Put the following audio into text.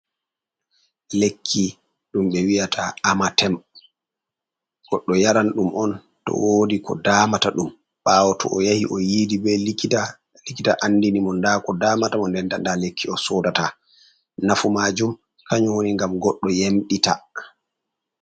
Lekki, ɗum ɓe wi'ata amatem, goɗɗo yaran ɗum on to woodi ko daamata ɗum, ɓaawo to o yahi o yiidi be likita, likita andini mo ndaa ko daamata mo, nden-nden ndaa lekki o soodata. Nafu maajum kanju woni ngam goɗɗo yamɗita.